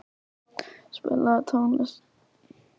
Aðalvíkingur, spilaðu tónlist.